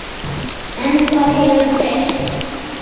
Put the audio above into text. En hvað hefur breyst?